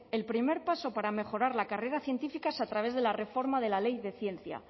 el primer paso para mejorar la carrera científica es a través de la reforma de la ley de ciencia